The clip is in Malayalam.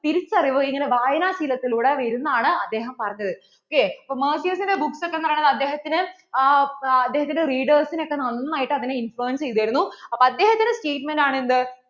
തിരിച്ചറിവ് ഇങ്ങനെ വായന ശീലത്തിലൂടെ വരുംന്നാണ് അദ്ദേഹം പറഞ്ഞത് ok അപ്പോൾ Mercier books ഒക്കെ പറയുന്നത് അദ്ധേഹത്തിന്‍റെ ആ readers നെ ഒക്കെ നന്നായിട്ടു അതിനെ influence ചെയ്തിരുന്നു അപ്പോ അദ്ദേഹത്തിന്‍റെ statemtn ആണ് എന്ത്